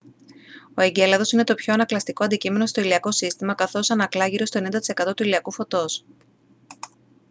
ο εγκέλαδος είναι το πιο ανακλαστικό αντικείμενο στο ηλιακό σύστημα καθώς ανακλά γύρω στο 90 τοις εκατό του ηλιακού φωτός